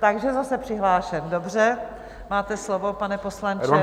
Takže zase přihlášen, dobře, máte slovo, pane poslanče.